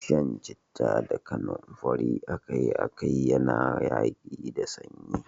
Shan citta da kanumfari akai-akai yana yaƙi da sanyi.